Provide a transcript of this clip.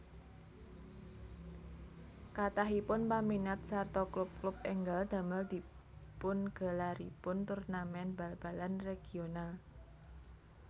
Kathahipun paminat sarta klub klub ènggal damel dipungelaripun turnamèn bal balan regional